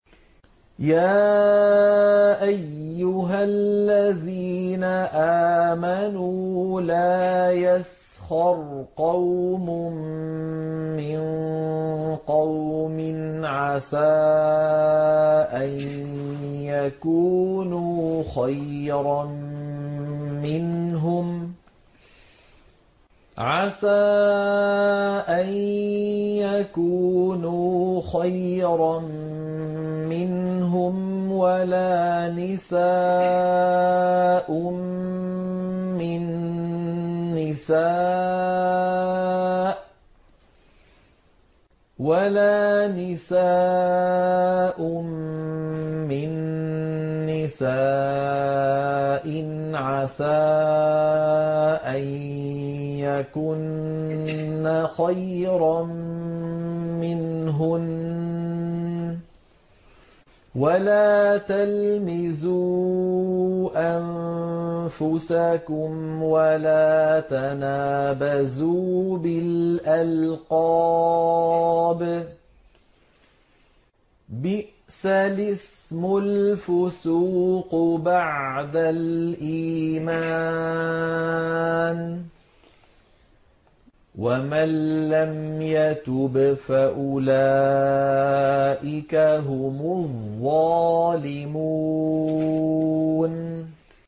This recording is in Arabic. يَا أَيُّهَا الَّذِينَ آمَنُوا لَا يَسْخَرْ قَوْمٌ مِّن قَوْمٍ عَسَىٰ أَن يَكُونُوا خَيْرًا مِّنْهُمْ وَلَا نِسَاءٌ مِّن نِّسَاءٍ عَسَىٰ أَن يَكُنَّ خَيْرًا مِّنْهُنَّ ۖ وَلَا تَلْمِزُوا أَنفُسَكُمْ وَلَا تَنَابَزُوا بِالْأَلْقَابِ ۖ بِئْسَ الِاسْمُ الْفُسُوقُ بَعْدَ الْإِيمَانِ ۚ وَمَن لَّمْ يَتُبْ فَأُولَٰئِكَ هُمُ الظَّالِمُونَ